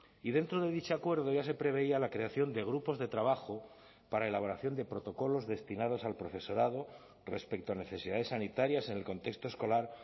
y dentro de dicho acuerdo ya se preveía la creación de grupos de trabajo para elaboración de protocolos destinados al profesorado respecto a necesidades sanitarias en el contexto escolar